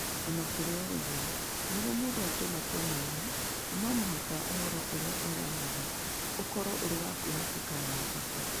O na kũrĩ ũguo, nĩguo mũndũ atue matua mega, no mũhaka ũhoro ũrĩa ũheanagwo ũkorũo ũrĩ wa kwĩhokeka na wa bata.